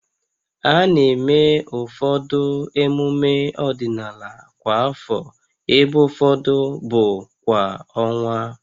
A na-eme ụfọdụ emume ọdịnala kwa afọ, ebe ụfọdụ bụ kwa ọnwa